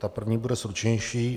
Ta první bude stručnější.